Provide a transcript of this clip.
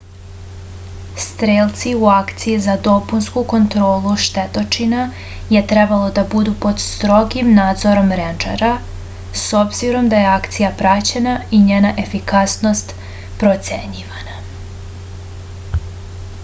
strelci u akciji za dopunsku kontrolu štetočina je trebalo da budu pod strogim nadzorom rendžera s obzirom da je akcija praćena i njena efikasnost procenjivana